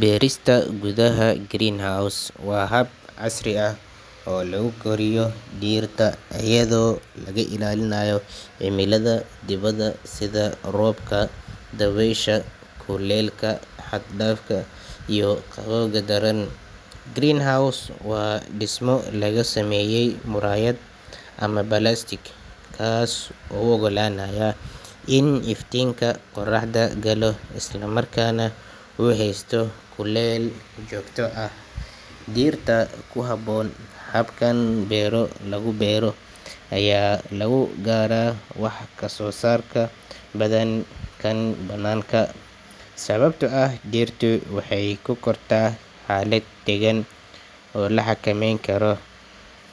Beerista gudaha greenhouse waa hab casri ah oo lagu koriyo dhirta iyadoo laga ilaalinayo cimilada dibadda sida roobka, dabaysha, kulaylka xad dhaafka ah iyo qabowga daran. Greenhouse waa dhismo laga sameeyo muraayad ama balaastiig, kaas oo u oggolaanaya in iftiinka qoraxda galo, isla markaana uu haysto kulayl joogto ah oo dhirta ku habboon. Habkan beero lagu beero ayaa lagu gaaraa wax soo saar ka badan kan banaanka, sababtoo ah dhirtu waxay ku kortaa xaalad deggan oo la xakameyn karo.